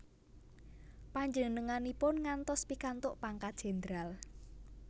Panjenenganipun ngantos pikantuk pangkat jendral